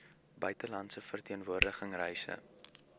buitelandse verteenwoordiging reise